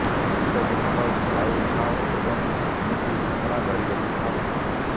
ସଂଗୀତକୁ ଭଲ ପାଉଥାଅ ଏବଂ ଏମିତି ସାଧନା ଜାରି ରଖିଥାଅ